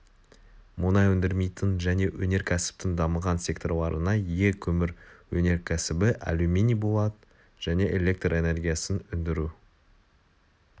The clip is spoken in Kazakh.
мұнай өндірмейтін және өнеркәсіптің дамыған секторларына ие көмір өнеркәсібі алюминий болат және электр энергиясын өндіру